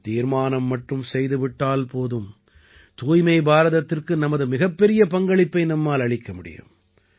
நாம் தீர்மானம் மட்டும் செய்து விட்டால் போதும் தூய்மை பாரதத்திற்கு நமது மிகப்பெரிய பங்களிப்பை நம்மால் அளிக்க முடியும்